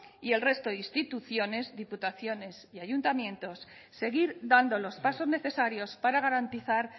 y el resto de instituciones diputaciones y ayuntamientos seguir dando los pasos necesarios para garantizar